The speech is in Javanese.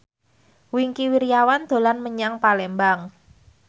Wingky Wiryawan dolan menyang Palembang